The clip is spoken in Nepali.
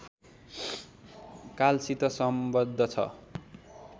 कालसित सम्बद्ध छ